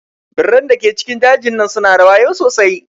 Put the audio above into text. Birran da ke cikin jejin nan su na da wayau sosai.